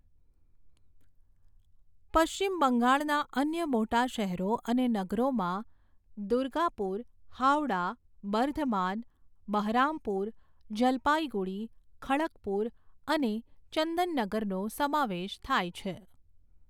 પશ્ચિમ બંગાળના અન્ય મોટા શહેરો અને નગરોમાં દુર્ગાપુર, હાવડા, બર્ધમાન, બહરામપુર, જલપાઈગુડી, ખડગપુર અને ચંદનનગરનો સમાવેશ થાય છે.